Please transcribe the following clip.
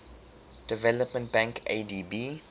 development bank adb